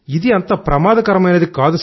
ఇది అంత ప్రమాదకరమైనది